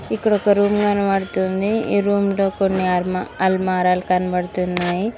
ఇక్కడ ఒక రూమ్ కనబడుతుంది ఈ రూమ్ లో కొన్ని అర్మ అల్మారాలు కనబడుతున్నాయి.